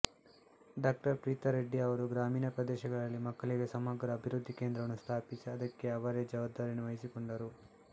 ಡಾ ಪ್ರೀತ ರೆಡ್ಡಿ ಅವರು ಗ್ರಾಮೀಣ ಪ್ರದೇಶಗಳಲ್ಲಿ ಮಕ್ಕಳಿಗೆ ಸಮಗ್ರ ಅಭಿವೃದ್ಧಿ ಕೇಂದ್ರವನ್ನು ಸ್ಥಾಪಿಸಿ ಅದಕ್ಕೆ ಅವರೇ ಜವಾಬ್ದಾರಿಯನ್ನು ವಹಸಿಕೊಂಡರು